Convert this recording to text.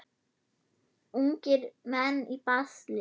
Ungir menn í basli.